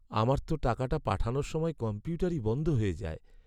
আমার তো টাকাটা পাঠানোর সময় কম্পিউটারই বন্ধ হয়ে যায়।